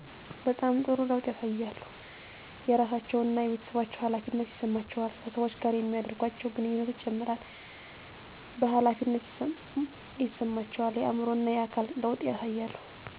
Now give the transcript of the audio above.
በጣም ጥሩ ለውጥ ያሳያሉ የራሳቸው እና የቤተሠባቸው ሀላፊነት ይሠማቸዋል ከሠወች ጋር የሚደርጓቸው ግንኙነት ይጨምራል ቨሀላፊነት ይሰማቸዋል የአዕምሮ እና የአካል ለውጥ ያሳያሉ።